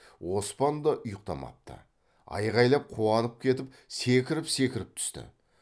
оспан да ұйықтамапты айғайлап қуанып кетіп секіріп секіріп түсті